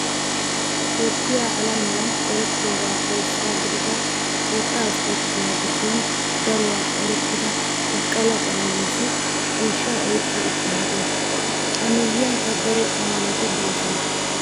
Toophphiyaa alamiyan erettiyoobaappe isuwaa gidida wottaa ispporttiyaa giddon daruwaa erettida baqqala qenenniisi ciishshaa oyiqqi uttaagaa. A miyyiyankka daro amalati doosona.